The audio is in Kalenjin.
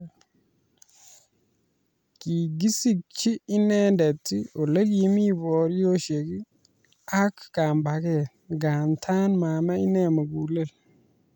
Kikisikchi inendet olekimi boriosyek ak kambaget nganda mamee inne mugulel